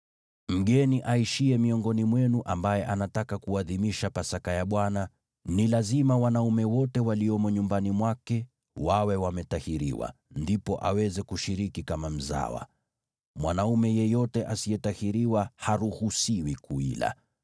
“Mgeni aishiye miongoni mwenu ambaye anataka kuadhimisha Pasaka ya Bwana ni lazima wanaume wote waliomo nyumbani mwake wawe wametahiriwa, ndipo aweze kushiriki kama mzawa. Mwanaume yeyote asiyetahiriwa haruhusiwi kuila.